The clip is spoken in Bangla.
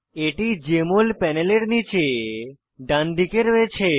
এটি জেএমএল প্যানেলের নীচে ডানদিকে রয়েছে